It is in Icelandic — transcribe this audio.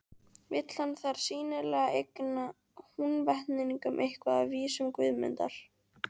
Vill hann þar sýnilega eigna Húnvetningum eitthvað af vísum Guðmundar.